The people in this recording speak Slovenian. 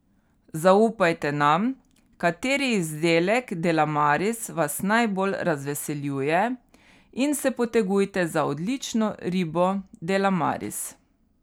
Zaupajte nam, kateri izdelek Delamaris vas najbolj razveseljuje, in se potegujte za odlično ribo Delamaris.